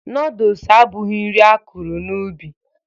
Noodus abụghị nri a kụrụ n'ubi